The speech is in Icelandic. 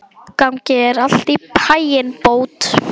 Gangi þér allt í haginn, Bót.